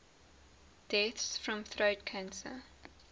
deaths from throat cancer